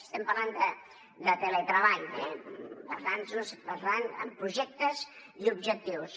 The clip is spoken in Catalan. estem parlant de teletreball basats en projectes i objectius